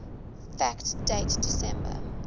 fact date december